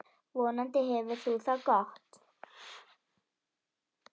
Vonandi hefur þú það gott.